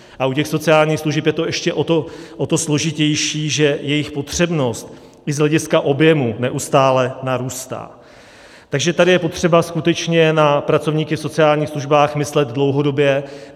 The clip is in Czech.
A u těch sociálních služeb je to ještě o to složitější, že jejich potřebnost i z hlediska objemu neustále narůstá, takže tady je potřeba skutečně na pracovníky v sociálních službách myslet dlouhodobě.